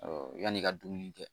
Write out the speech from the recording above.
yanni i ka dumuni kɛ